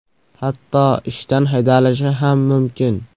Hatto ishdan haydalishi ham mumkin.